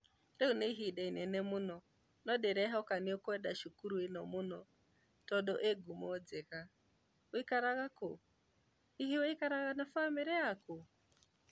rĩu nĩ ihinda inini mũno no ndĩrehoka nĩ ũkwenda cukuru ĩno mũno tondũ ĩ ngumo njega. wĩikaraga kũ?hihi wĩikaraga na bamĩrĩ yaku?